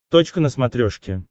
точка на смотрешке